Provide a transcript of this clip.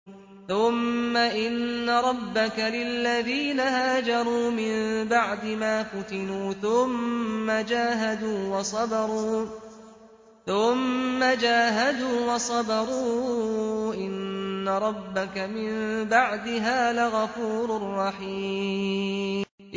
ثُمَّ إِنَّ رَبَّكَ لِلَّذِينَ هَاجَرُوا مِن بَعْدِ مَا فُتِنُوا ثُمَّ جَاهَدُوا وَصَبَرُوا إِنَّ رَبَّكَ مِن بَعْدِهَا لَغَفُورٌ رَّحِيمٌ